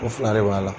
O fila de b'a la